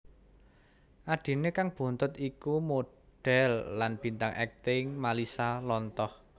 Adhiné kang bontot iku modhèl lan bintang akting Malisa Lontoh